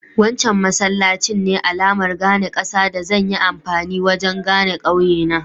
Wancan masallacin ne alamar gane ƙasa da zan yi amfani wajen gane ƙauye na.